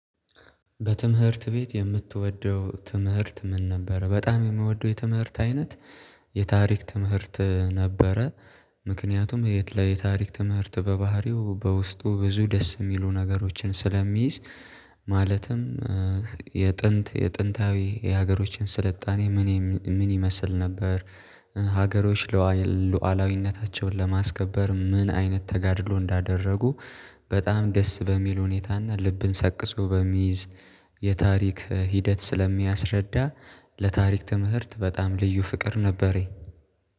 በትምህርት ቤት የምትወደው ትምህርት ምን ነበር? በጣም የምወደው የትምህርት አይነት የታሪክ ትምህርት ነበረ። ምክንያቱም የት ላይ የታሪክ ትምህርት በባህሪው በውስጡ ብዙ ደስ የሚሉ ነገሮችን ስለሚይዝ ማለትም የጥንት የጥንታዊ የሀገሮችን ስልጣኔ ምን ምን ይመስል ነበር፤ ሀገሮች ሉዓላዊነታቸውን ለማስከበር ምን አይነት ተጋድሎ እንዳደረጉ በጣም ደስ በሚል ሁኔታና ልብን ሰቅዞ በሚይዝ የታሪክ ሂደት ስለሚያስረዳ ለታሪክ ትምህርት በጣም ልዩ ፍቅር ነበረኝ።